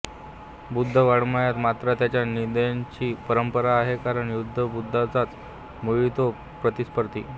बौद्ध वाङ्मयांत मात्र त्याच्या निंदेची परंपरा आहे कारण खुद्ध बुद्धाचाच मुळी तो प्रतिस्पर्धी